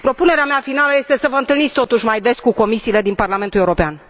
Propunerea mea finală este să vă întâlniți, totuși, mai des cu comisiile din Parlamentul European.